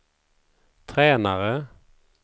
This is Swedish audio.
tränare